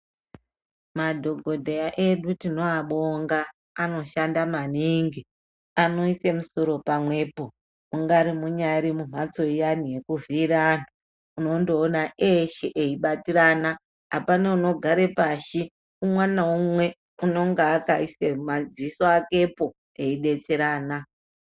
Madhokodheya edu tinoabonga anoshanda maningi. Anoise musoro pamwepo. Mungari muri munhatso iyani yekuvhiyirana antu unondoona eshe eyibatirana. Apana unogare pashi umwe naumwe unonga akaise madziso akepo veidetserana.